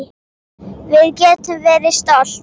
Við getum verið stolt.